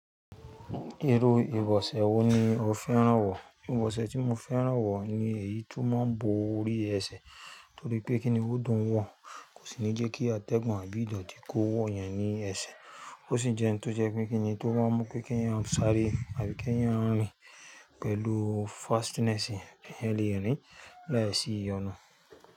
Irú ìbọ̀sẹ̀ wo ni o fẹ́ràn wọ̀? Ìbọ̀sẹ̀ tí mo fẹ́ràn wọ̀ ni èyí tó máa ń bo orí ẹsẹ̀. Torí pé kíni ó dùn wọ̀n, kò sì ní jẹ́kí atẹ́gùn àbí ìdọ̀tí kó wọ̀ yẹn ní ẹsẹ̀. Ó sì jẹ́ ohun tó jẹ́ pe kíńní tó máa ń mú pé kí ẹ̀yàn sáré àbí kí ẹ̀yàn rìn pẹ̀lú fastness yẹn eyan le rin láìsí ìyọnu.